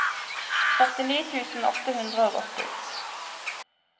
førtini tusen åtte hundre og åtti